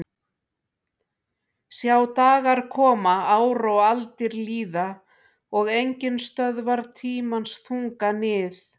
Sjá dagar koma ár og aldir líða og enginn stöðvar tímans þunga nið